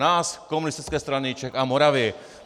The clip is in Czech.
Nás, Komunistické strany Čech a Moravy.